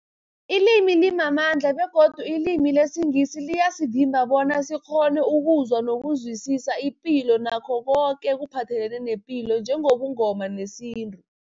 Ilimi limamandla begodu ilimi lesiNgisi liyasivimba bona sikghone ukuzwa nokuzwisisa ipilo nakho koke ekuphathelene nepilo njengobuNgoma nesintu.